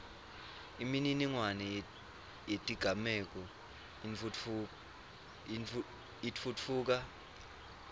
imininingwane yetigameko itfutfuka